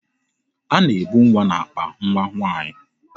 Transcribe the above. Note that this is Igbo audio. A na-ebu nwa n'akpa nwa nwaanyị.